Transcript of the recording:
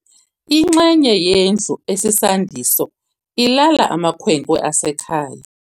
Inxenye yendlu esisandiso ilala amakhwenkwe asekhaya.